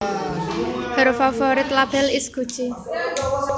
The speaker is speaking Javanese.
Her favorite label is Gucci